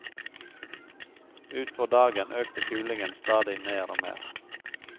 Utpå dagen økte kulingen stadig mer og mer.